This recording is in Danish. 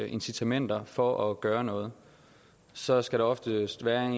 incitamenter for at gøre noget så skal der oftest være en